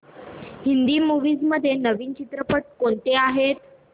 Hindi movies मध्ये नवीन चित्रपट कोणते आहेत